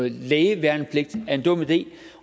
en lægeværnepligt er en dum idé